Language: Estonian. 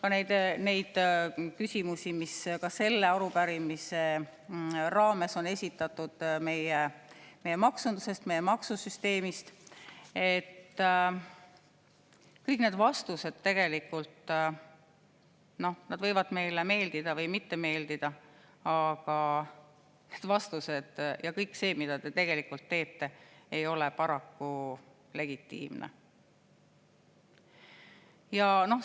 Aga kõik need vastused küsimustele, mis ka selle arupärimise raames on esitatud maksunduse, meie maksusüsteemi kohta – noh, need võivad meile meeldida või mitte meeldida –, ja kõik see, mida te teete, ei ole tegelikult paraku legitiimne.